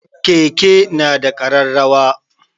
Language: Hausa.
Keke na da ƙararrawa.